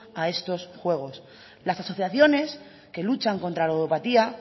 a esto juegos las asociaciones que luchan contra la ludopatía